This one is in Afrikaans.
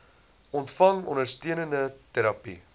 ontvang ondersteunende terapie